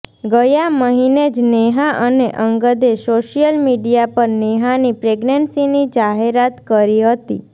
ગયા મહિને જ નેહા અને અંગદે સોશિયલ મીડિયા પર નેહાની પ્રેગનેન્સીની જાહેરાત કરી હતી